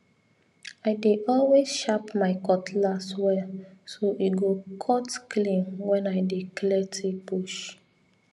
i dey always sharp my cutlass well so e go cut clean when i dey clear thick bush